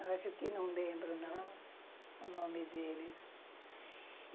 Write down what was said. Eu acho que não lembro, não, o nome deles.